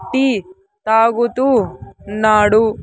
Tea తాగుతూ ఉన్నాడు.